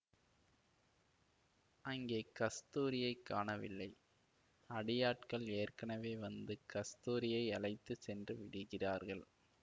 அங்கே கஸ்தூரியைக் காணவில்லை அடியாட்கள் ஏற்கனவே வந்து கஸ்தூரியை அழைத்து சென்று விடுகிறார்கள்